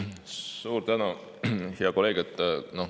Suur tänu, hea kolleeg!